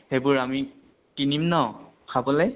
সেইবোৰ আমি কিনিম ন খাবলৈ?